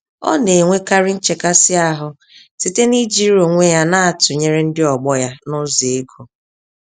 Ọ nenwekarị nchekasị-ahụ site n'ijiri onwe ya na tụnyere ndị ọgbọ ya, nụzọ égo